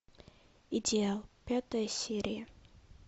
идеал пятая серия